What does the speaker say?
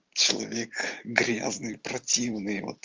человек грязный противный вот